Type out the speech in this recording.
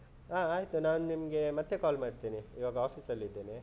ಹಾ ಆಯ್ತು, ನಾನು ನಿಮ್ಗೆ ಮತ್ತೆ call ಮಾಡ್ತೀನಿ ಇವಾಗ office ಅಲ್ಲಿ ಇದ್ದೇನೆ.